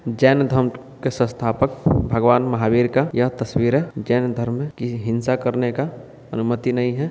जैन धर्म के संस्थापक भगवन महावीर का यह तस्वीर है जैन धर्म की हिंसा करने का अनुमति नहीं है।